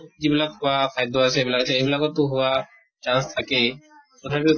যিবিলাক খোৱা খাদ্য় আছে, সেইবিলাক, সেইবিলাকতো হোৱা chance থাকেই । তথাপিও